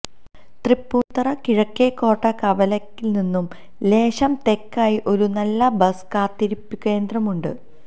തൃപ്പൂണിത്തുറ കിഴക്കേക്കോട്ട കവലയില്നിന്നും ലേശം തെക്കായി ഒരു നല്ല ബസ്സ് കാത്തിരിപ്പുകേന്ദ്രമുണ്ട്